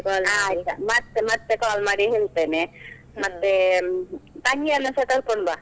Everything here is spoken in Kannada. ಮತ್ತೆ ಮತ್ತೆ call ಮಾಡಿ ಹೇಳ್ತೇನೆ, ಮತ್ತೇ ತಂಗಿಯನ್ನುಸ ಕರ್ಕೊಂಡು ಬಾ.